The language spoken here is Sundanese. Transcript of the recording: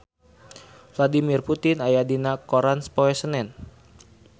Vladimir Putin aya dina koran poe Senen